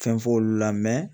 Fɛn f'olu la